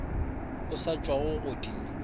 o sa tšwago go di